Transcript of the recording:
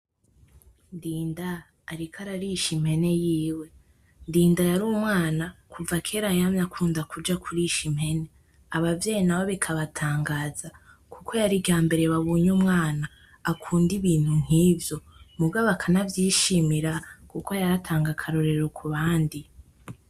Ndinda ariko ararisha impene yiwe ,Ndinda yari umwana kuva kera yamye akunda kuja kurisha impene abavyeyi nabo bikabatangaza kuko yari iryambere babonye umwana akunda ibintu nkivyo muga bakanavyishimira kuko yaratanga akarorero kubandi